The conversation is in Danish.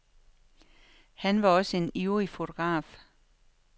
Han var også en ivrig fotograf.